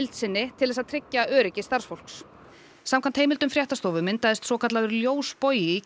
til að tryggja öryggi starfsmanna samkvæmt heimildum fréttastofu myndaðist svokallaður ljósbogi í